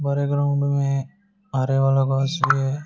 बड़े ग्राउंड में आरे वाला भी है।